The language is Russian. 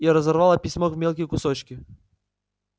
и разорвала письмо в мелкие кусочки